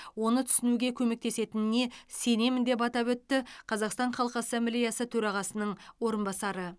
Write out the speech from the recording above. оны түсінуге көмектесетініне сенемін деп атап өтті қазақстан халық ассамблеясы төрағасының орынбасары